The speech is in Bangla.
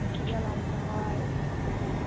নিশি জল আন্তে হয়